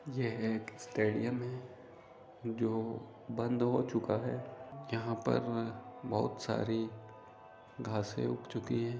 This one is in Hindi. यह एक स्टेडियम है जो बंद हो चुका है यहां पर बहुत सारी घासे उग चुकी हैं